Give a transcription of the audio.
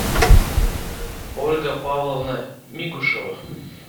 ольга павловна мигушева